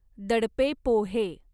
दडपे पोहे